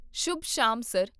ਸ਼ੁਭ ਸ਼ਾਮ, ਸਰ,